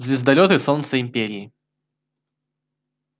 звездолёт и солнце империи